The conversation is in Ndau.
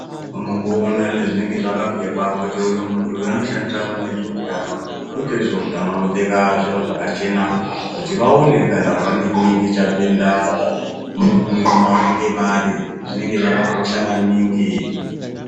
Unongoona nezvinenge zvakapfekwa kuti uyu muntu unoshandirwa kune zveutano kuti ezveutano anopfeka zviro zvakachena kuti vaone kana pane chinenge chapinda mu mavanenge vari zvinenge zvakakosha maningi.